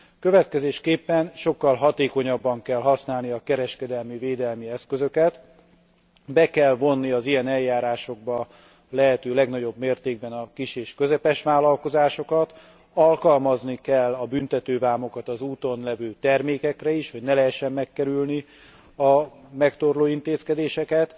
Következésképpen sokkal hatékonyabban kell használni a kereskedelemi, védelmi eszközöket, be kell vonni az ilyen eljárásokba a lehető legnagyobb mértékben a kis és közepes vállalkozásokat, alkalmazni kell a büntetővámokat az úton levő termékekre is, hogy ne lehessen megkerülni a megtorló intézkedéseket,